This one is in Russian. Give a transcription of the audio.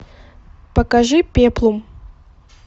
покажи пеплум